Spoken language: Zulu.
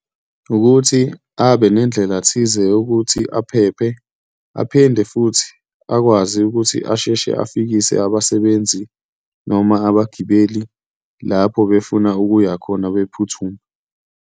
Ukuthi abe nendlela thize yokuthi aphephe, aphinde futhi akwazi ukuthi asheshe afikise abasebenzi noma abagibeli lapho befuna ukuya khona bephuthuma.